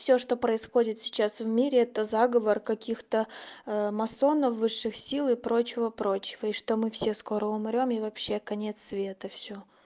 всё что происходит сейчас в мире это заговор каких-то масонов высших сил и прочего прочего и что мы все скоро умрём и вообще конец света всё